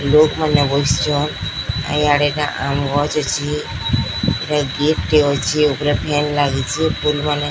ଲୋକ୍ ମାନେ ବସିଚନ୍। ଆ ଇଆଡ଼େ ଟା ଆମ୍ ଗଛ୍ ଅଛି। ଏଟା ଗେଟ୍ ଟେ ଅଛେ। ଉପରେ ଫ୍ୟାନ୍ ଲାଗିଚି। ପୁଲ୍ ମାନେ --